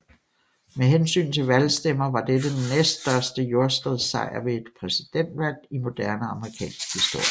Med hensyn til valgstemmer var dette den næststørste jordskredssejr ved et præsidentvalg i moderne amerikansk historie